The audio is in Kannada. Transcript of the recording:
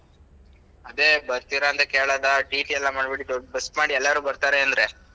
ಅದೇ ಬರ್ತೀರಾ ಅಂತ ಕೇಳೋದಾ TT ಎಲ್ಲ ಮಾಡ್ಬೇಡಿ ದೊಡ್ bus ಮಾಡಿ ಎಲ್ಲಾರು ಬರ್ತಾರೆ ಅಂದ್ರೆ.